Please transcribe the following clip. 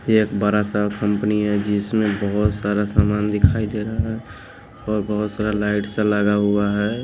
एक बड़ा सा कंपनी है जिसमें बहुत सारा सामान दिखाई दे रहा है और बहुत सारा लाइट सा लगा हुआ है।